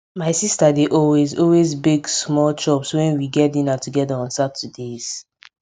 my sista dey always always bake small chops when we get dinner together on saturdays